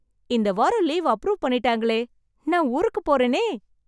இந்த வாரம் leave approve பண்ணிட்டாங்களே, நான் ஊருக்கு போறேனே.